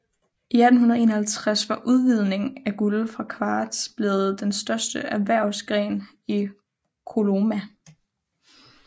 I 1851 var udvinding af guld fra kvarts blevet den største erhvervsgren i Coloma